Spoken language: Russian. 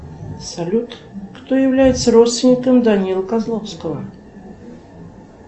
салют кто является родственником данилы козловского